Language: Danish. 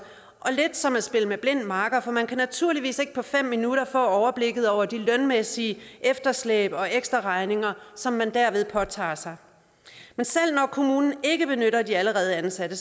og lidt som at spille med blind makker for man kan naturligvis ikke på fem minutter få overblikket over de lønmæssige efterslæb og ekstraregninger som man derved påtager sig men selv når kommunen ikke benytter de allerede ansatte